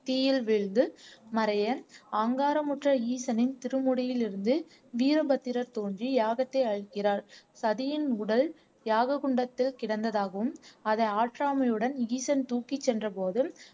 தீயில் விழுந்து மறைய அகங்காரமுற்ற ஈசனின் திருமுடியிலிருந்து வீரபத்திரர் தோன்றி யாகத்தை அழிக்கிறார் சதியின் உடல் யாக குண்டத்தில் கிடந்ததாகவும் அதை ஆற்றாமையுடன் ஈசன் தூக்கி சென்ற போதும்